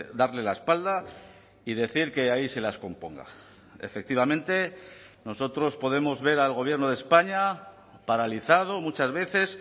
darle la espalda y decir que ahí se las componga efectivamente nosotros podemos ver al gobierno de españa paralizado muchas veces